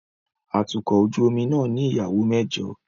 Atukọ̀ ojú omi náà ní ìyàwó mẹ́jọ